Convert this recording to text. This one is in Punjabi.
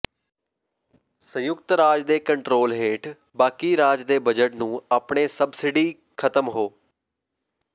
ਸੰਯੁਕਤ ਰਾਜ ਦੇ ਕੰਟਰੋਲ ਹੇਠ ਬਾਕੀ ਰਾਜ ਦੇ ਬਜਟ ਨੂੰ ਆਪਣੇ ਸਬਸਿਡੀ ਖਤਮ ਹੋ